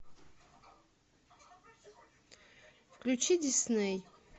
включи дисней